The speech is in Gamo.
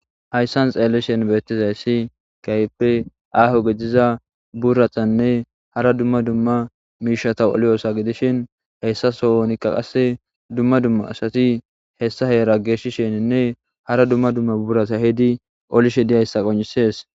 Haysan Xeelishi Bethizaysi Keehippe Aaho Gidiza Buratanne Hara Dumma Dumma Miishata Oliyosa Gidishin Hesa Sohonika Qase Dumma Dumma Asati Hessa Heera Geshishhenne Hara Dumma Dumma Burata Eehidi Olishe Dizaysa Qoncisees